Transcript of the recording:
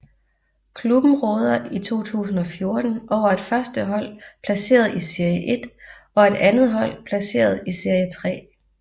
Klubben råder i 2014 over et førstehold placeret i serie 1 og et andethold placeret i serie 3